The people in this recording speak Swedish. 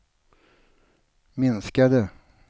minskade